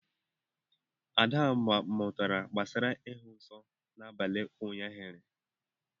Ada mụtara gbasara ịhụ nsọ n’abalị ụnyahụ